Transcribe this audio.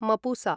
Mapusa